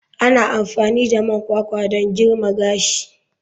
Ana amfani da man kwakwa don girma gashi.